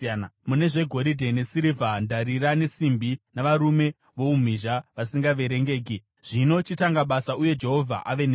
mune zvegoridhe nesirivha, ndarira nesimbi navarume voumhizha vasingaverengeki. Zvino chitanga basa uye Jehovha ave newe.”